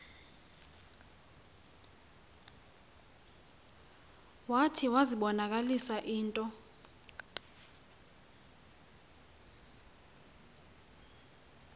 zwathi iwazibonakalisa into